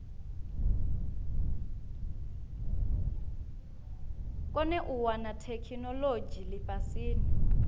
kone u wana theikinolodzhi lifhasini